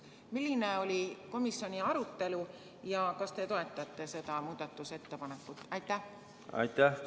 Milline oli komisjoni arutelu ja kas te toetate seda muudatusettepanekut?